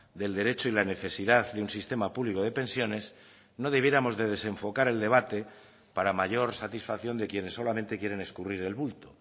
del derecho y la necesidad de un sistema público de pensiones no debiéramos de desenfocar el debate para mayor satisfacción de quienes solamente quieren escurrir el bulto